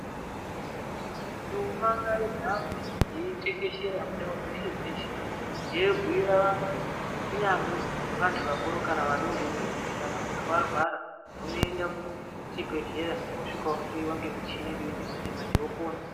Nduma ngaihambe yeitekeshera mundau dzeshe dzeshe yeibhiira vantu kunyangwe vantu vakuru kana kuti vadodori kuti kana muntu warwara unoenda kuchibhedhlera wosvika wohloyiwa ngemuchini iriyoyechi manje manje wopona.